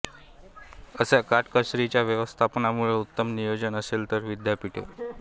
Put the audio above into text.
अशा काटकसरीच्या व्यवस्थापनामुळे उत्तम नियोजन असेल तर विद्यापीठे